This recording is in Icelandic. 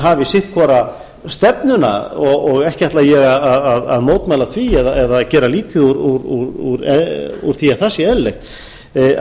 hafi sitt hvora stefnuna og ekki ætla ég að mótmæla því eða gera lítið úr því að það sé eðlilegt þá